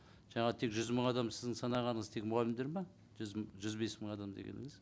жаңағы тек жүз мың адам сіздің санағаныңыз тек мұғалімдер ме жүз мың жүз бес мың адам дегеніңіз